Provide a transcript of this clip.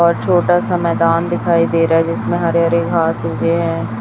और छोटा सा मैदान दिखाई दे रहा है जिसमें हरे हरे घास उगे हैं।